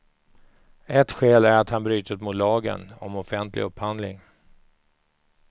Ett skäl är att han brutit mot lagen om offentlig upphandling.